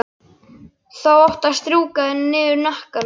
Þá áttu að strjúka henni niður hnakkann.